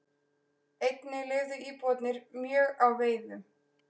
Einnig lifðu íbúarnir mjög á veiðum.